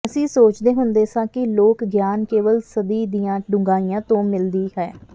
ਅਸੀਂ ਸੋਚਦੇ ਹੁੰਦੇ ਸਾਂ ਕਿ ਲੋਕ ਗਿਆਨ ਕੇਵਲ ਸਦੀ ਦੀਆਂ ਡੂੰਘਾਈਆਂ ਤੋਂ ਮਿਲਦੀ ਹੈ